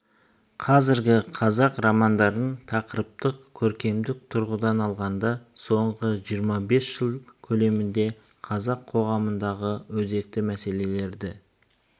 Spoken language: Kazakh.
қазіргі қазақ романдарын тақырыптық көркемдік тұрғыдан алғанда соңғы жиырма бес жыл көлемінде қазақ қоғамындағы өзекті мәселелерді